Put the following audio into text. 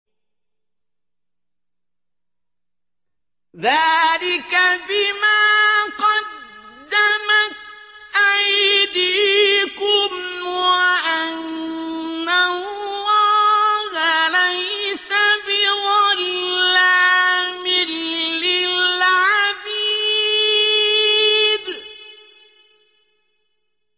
ذَٰلِكَ بِمَا قَدَّمَتْ أَيْدِيكُمْ وَأَنَّ اللَّهَ لَيْسَ بِظَلَّامٍ لِّلْعَبِيدِ